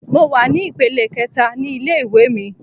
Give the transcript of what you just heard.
Mo wà ní ìpele kẹẹ̀ta ní ilé ìwé mi.